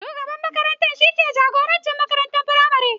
Shugaban makaranta shi ke jagoranci makarantar firamare.